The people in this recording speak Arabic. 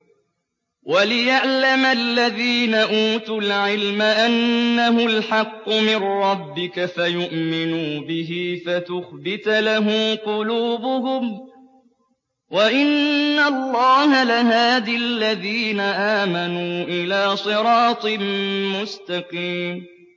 وَلِيَعْلَمَ الَّذِينَ أُوتُوا الْعِلْمَ أَنَّهُ الْحَقُّ مِن رَّبِّكَ فَيُؤْمِنُوا بِهِ فَتُخْبِتَ لَهُ قُلُوبُهُمْ ۗ وَإِنَّ اللَّهَ لَهَادِ الَّذِينَ آمَنُوا إِلَىٰ صِرَاطٍ مُّسْتَقِيمٍ